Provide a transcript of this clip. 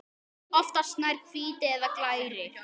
Oftast nær hvítir eða glærir.